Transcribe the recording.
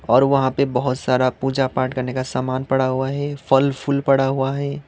और वहां पे बहोत सारा पूजा पाठ करने का सामान पड़ा हुआ है फूल फूल पड़ा हुआ है।